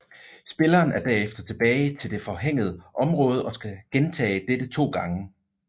Spilleren er derefter tilbage til det forhænget område og skal gentage dette to gange